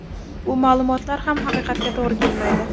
Bu ma’lumotlar ham haqiqatga to‘g‘ri kelmaydi.